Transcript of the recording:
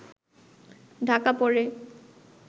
ঢাকা পড়ে